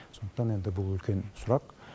сондықтан енді бұл үлкен сұрақ